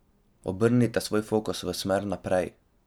Obrnite svoj fokus v smer naprej.